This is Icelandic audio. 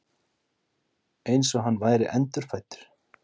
Eins og hann væri endurfæddur.